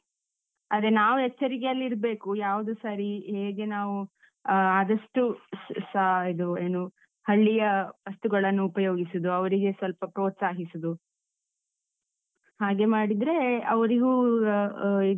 ಅದೇ ನಾವು ಎಚ್ಚರಿಕೆಯಲ್ಲಿರ್ಬೇಕು. ಯಾವ್ದು ಸರಿ, ಹೇಗೆ ನಾವು ಆಹ್ ಆದಷ್ಟು ಸ ಇದು ಏನು ಹಳ್ಳಿಯ ವಸ್ತುಗಳನ್ನು ಉಪಯೋಗಿಸುದು, ಅವ್ರಿಗೆ ಸ್ವಲ್ಪ ಪ್ರೋತ್ಸಾಹಿಸುದು, ಹಾಗೆ ಮಾಡಿದ್ರೆ ಅವ್ರಿಗೂ ಈಗ